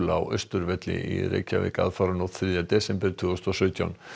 á Austurvelli í Reykjavík aðfaranótt þriðja desember tvö þúsund og sautján